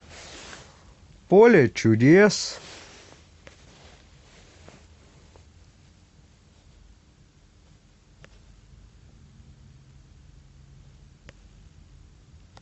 поле чудес